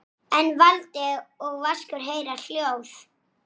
Um ungan mann.